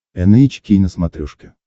эн эйч кей на смотрешке